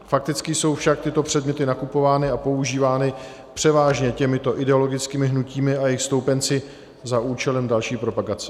Fakticky jsou však tyto předměty nakupovány a používány převážně těmito ideologickými hnutími a jejich stoupenci za účelem další propagace.